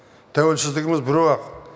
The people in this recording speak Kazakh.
тәуелсіздігіміз біреу ақ